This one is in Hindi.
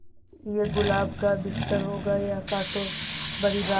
ये गुलाब का बिस्तर होगा या कांटों भरी राह